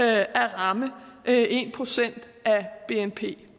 at ramme en procent af bnp